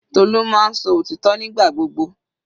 Tolu máa ń sọ òtítọ́ nígbà gbogbo.